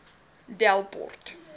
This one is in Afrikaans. delport